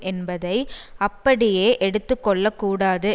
என்பதை அப்படியே எடுத்து கொள்ள கூடாது